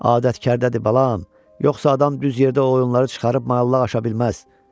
Adətkardadır balam, yoxsa adam düz yerdə o oyunları çıxarıb mailağaşa bilməz.